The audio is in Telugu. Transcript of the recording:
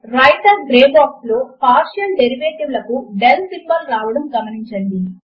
వ్రైటర్ గ్రే బాక్స్ లో పార్షియల్ డేరివేటివ్ లకు del సింబల్ రావడమును గమనించండి